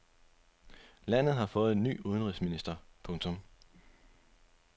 Landet har fået ny udenrigsminister. punktum